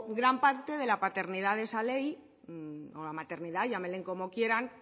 gran parte de la paternidad de esa ley o la maternidad llámenle como quieran